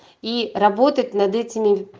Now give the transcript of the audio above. и работать над этими